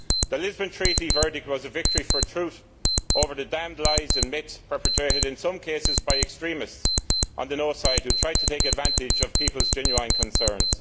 The Lisbon Treaty verdict was a victory for truth over the damned lies and myths perpetrated in some cases by extremists on the no' side who tried to take advantage of people's genuine concerns.